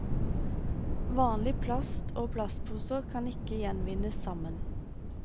Vanlig plast og plastposer kan ikke gjenvinnes sammen.